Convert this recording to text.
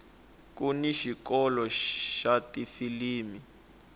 kuni xikolo xa tifilimi